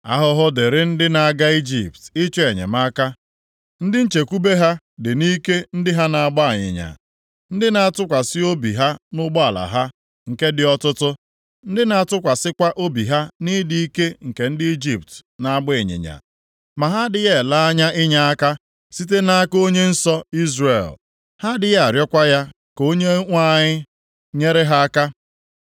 Ahụhụ dịrị ndị na-aga Ijipt ịchọ enyemaka, ndị nchekwube ha dị nʼike ndị ha na-agba ịnyịnya, ndị na-atụkwasị obi ha nʼụgbọala ha, nke dị ọtụtụ, ndị na-atụkwasịkwa obi ha nʼịdị ike nke ndị Ijipt na-agba ịnyịnya. Ma ha adịghị ele anya inyeaka site nʼaka Onye Nsọ Izrel; ha adịghị arịọkwa ya ka Onyenwe anyị nyere ha aka.